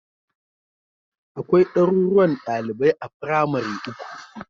Akwai ɗaruruwan ɗalibai a firamare uku